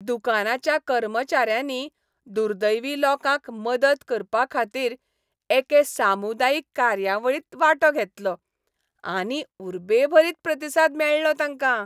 दुकानाच्या कर्मचाऱ्यांनी दुर्दैवी लोकांक मदत करपाखातीर एके सामुदायीक कार्यावळींत वांटो घेतलो आनी उर्बेभरीत प्रतिसाद मेळ्ळो तांकां.